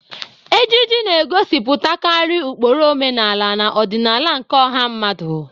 Ejiji na-egosipụtakarị ụkpụrụ omenala na ọdịnala nke ọha mmadụ.